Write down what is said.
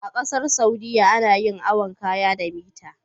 A ƙasar saudia ana yin awon kaya da mita